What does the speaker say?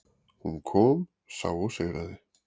Hún kom, sá og sigraði.